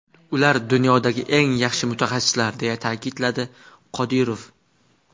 Ular dunyodagi eng yaxshi mutaxassislar”, deya ta’kidladi Qodirov.